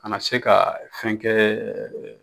A na se ka fɛn kɛɛ